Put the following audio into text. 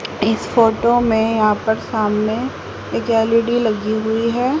इस फोटो में यहां पर सामने एक एल_इ_डी लगी हुई है।